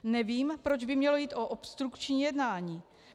Nevím, proč by mělo jít o obstrukční jednání.